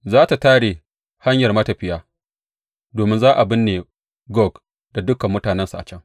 Za tă tare hanyar matafiya, domin za a binne Gog da dukan mutanensa a can.